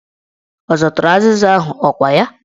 Ọ zụtara azịza ahụ, ọkwa ya?